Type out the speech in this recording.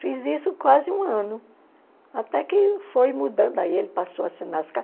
Fiz isso quase um ano, até que foi mudando, aí ele passou a assinar as